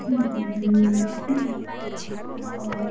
ହୁଁ ହୁଁ ଆଉ କଣ କହ।